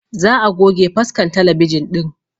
Za a goge faskan talabijin ɗin